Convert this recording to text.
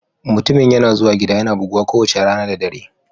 Mutumin yana zuwa gida yana buguwa kowace rana da dare